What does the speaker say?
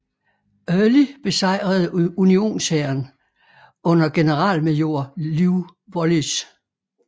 Early besejrede unionshæren under generalmajor Lew Wallace